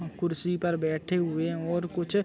कुर्सी पर बैठे हुए और कुछ --